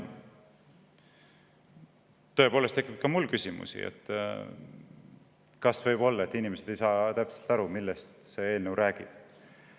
Tõepoolest tekib ka mul küsimusi, et kas võib olla, et inimesed ei saa täpselt aru, millest see eelnõu räägib.